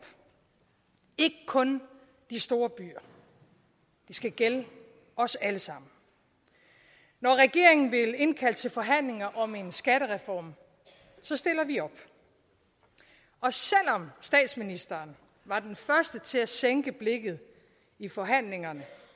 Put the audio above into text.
ikke kun de store byer det skal gælde os alle sammen når regeringen vil indkalde til forhandlinger om en skattereform stiller vi op og selv om statsministeren var den første til at sænke blikket i forhandlingerne